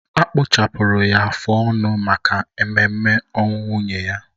Akpụchapụrụ ya afụ ọnụ maka ememe ọnwụ nwunye ya